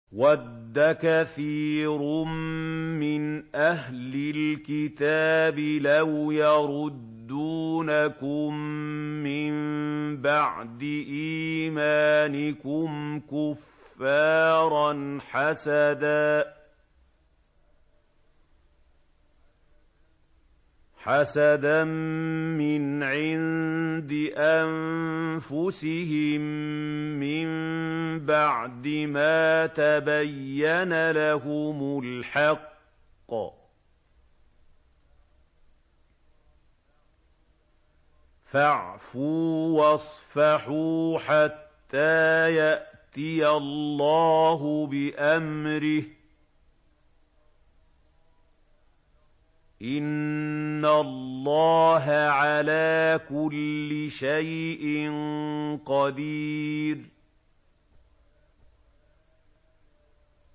وَدَّ كَثِيرٌ مِّنْ أَهْلِ الْكِتَابِ لَوْ يَرُدُّونَكُم مِّن بَعْدِ إِيمَانِكُمْ كُفَّارًا حَسَدًا مِّنْ عِندِ أَنفُسِهِم مِّن بَعْدِ مَا تَبَيَّنَ لَهُمُ الْحَقُّ ۖ فَاعْفُوا وَاصْفَحُوا حَتَّىٰ يَأْتِيَ اللَّهُ بِأَمْرِهِ ۗ إِنَّ اللَّهَ عَلَىٰ كُلِّ شَيْءٍ قَدِيرٌ